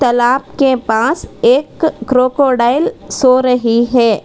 तलाब के पास एक क्रोकोडाइल सो रही है।